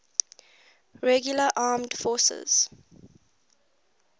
regular armed forces